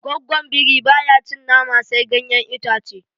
Goggon biri baya cin nama sai ganyen itace